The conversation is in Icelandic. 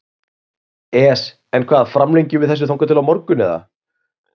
ES En hvað framlengjum við þessu þangað til á morgun eða?